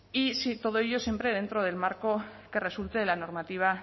y todo ello siempre dentro del marco que resulte de la normativa